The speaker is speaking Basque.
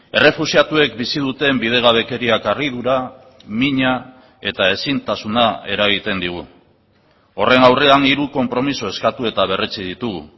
errefuxiatuek bizi duten bidegabekeriak harridura mina eta ezintasuna eragiten digu horren aurrean hiru konpromiso eskatu eta berretsi ditugu